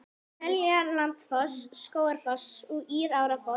Seljalandsfoss, Skógafoss og Írárfoss.